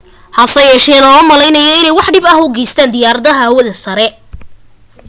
hasa yeeshee looma maleynaayo inay wax dhib u geysteen diyaarada hawada sare